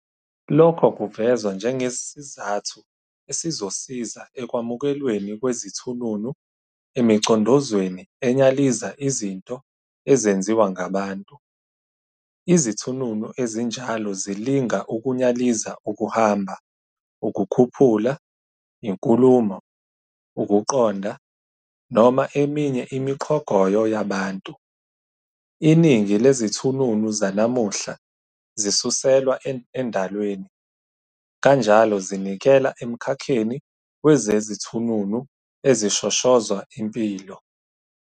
Lokho kuvezwa njengesizathu esizosiza ekwamukelweni kwezithununu emicondozweni enyaliza izinto ezenziwa ngabantu. Izithununu ezinjalo zilinga ukunyaliza ukuhamba, ukukhuphula, inkulumo, ukuqonda, noma eminye imiqhogoyo yabantu. Iningi lezithununu zanamuhla zisuselwa endalweni, kanjalo zinikela emkhakheni wezezithununu ezishoshozwa impilo.